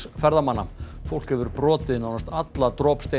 ferðamanna fólk hefur brotið nánast alla